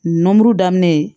N buru daminɛ